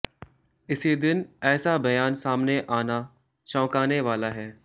इसी दिन ऐसा बयान सामने आना चौंकाने वाला है